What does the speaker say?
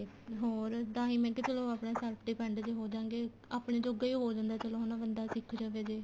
ਹੋਰ ਤਾਂਹੀ ਮੈਂ ਕਿਹਾ ਚਲੋ ਆਪਣੇ self depend ਜੇ ਹੋਜਾਂਗੇ ਆਪਣਾ ਜੋਗਾ ਈ ਹੋ ਜਾਂਦਾ ਚਲੋ ਹਨਾ ਬੰਦਾ ਸਿੱਖ ਜਾਵੇ ਜੇ